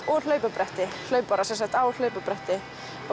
og hlaupabretti hlaupara á hlaupabretti